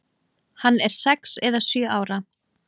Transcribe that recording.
Hann er sex eða sjö ára.